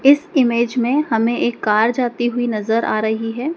इस इमेज में हमें एक कार जाती हुई नजर आ रही है।